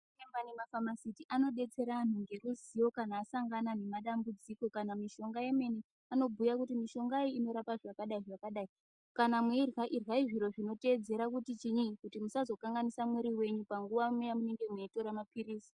Zviremba ne mafamasiti ano detsera anhu nge ruzivo kana asangana ne madambudziko kana mishonga yemene ano bhuya kuti mishonga iyi inorapa zvakadai zvakadai kana meirya iryai zviro zvino teedzera kuti chinyi kuti musazo kanganisa mwiri wenyu panguva ya munenge meitora mapilizi.